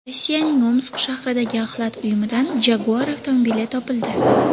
Rossiyaning Omsk shahridagi axlat uyumidan Jaguar avtomobili topildi.